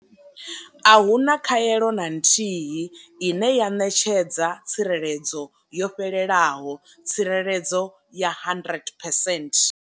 A hu na khaelo na nthihi ine ya ṋetshedza tsireledzo yo fhelelaho tsireledzo ya 100 percent.